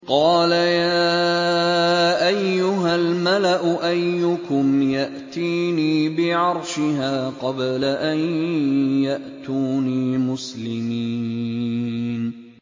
قَالَ يَا أَيُّهَا الْمَلَأُ أَيُّكُمْ يَأْتِينِي بِعَرْشِهَا قَبْلَ أَن يَأْتُونِي مُسْلِمِينَ